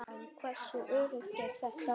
En hversu öruggt er þetta?